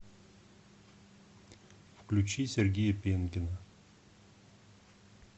включи сергея пенкина